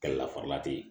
Kɛlɛlafara te yen